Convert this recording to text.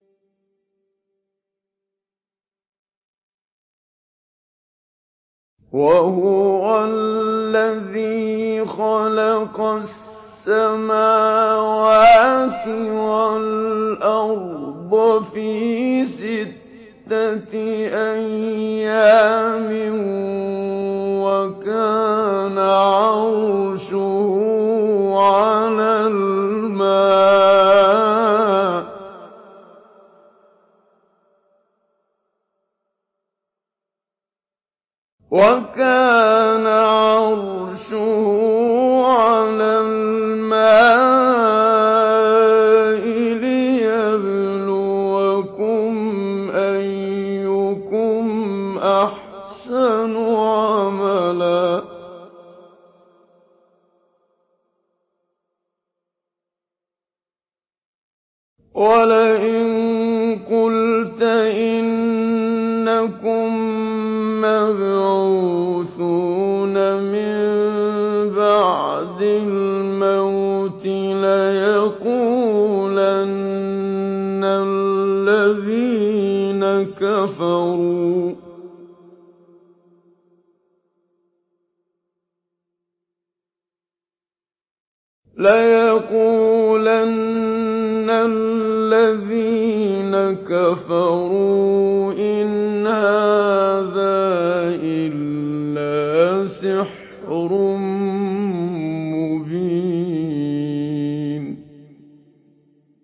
وَهُوَ الَّذِي خَلَقَ السَّمَاوَاتِ وَالْأَرْضَ فِي سِتَّةِ أَيَّامٍ وَكَانَ عَرْشُهُ عَلَى الْمَاءِ لِيَبْلُوَكُمْ أَيُّكُمْ أَحْسَنُ عَمَلًا ۗ وَلَئِن قُلْتَ إِنَّكُم مَّبْعُوثُونَ مِن بَعْدِ الْمَوْتِ لَيَقُولَنَّ الَّذِينَ كَفَرُوا إِنْ هَٰذَا إِلَّا سِحْرٌ مُّبِينٌ